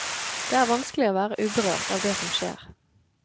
Det er vanskelig å være uberørt av det som skjer.